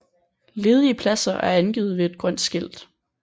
Ledige pladser er angivet ved et grønt skilt